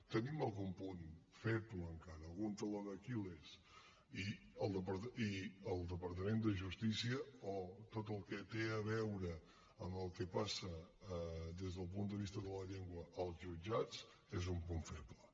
tenim algun punt feble encara algun taló d’aquil·les i el departament de justícia o tot el que té a veure amb el que passa des del punt de vista de la llengua als jutjats és un punt feble